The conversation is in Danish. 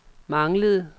manglede